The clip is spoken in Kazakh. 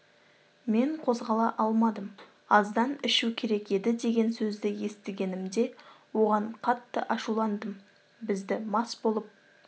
мен қозғала алмадым аздан ішу керек еді деген сөзді естігенімде оған қатты ашуландым бізді мас болып